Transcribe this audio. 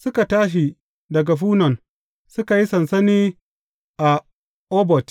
Suka tashi daga Funon, suka yi sansani a Obot.